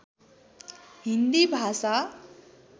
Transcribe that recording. हिन्दी भाषा